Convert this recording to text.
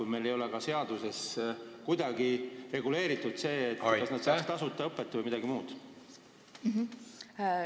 Ja meil ei ole ka seaduses kuidagi reguleeritud, kas nad saavad selleks tasuta õpet või mingit muud abi.